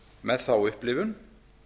með þá upplifum